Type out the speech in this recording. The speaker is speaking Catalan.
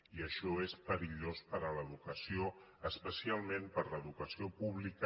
i això és perillós per a l’educació espe·cialment per a l’educació pública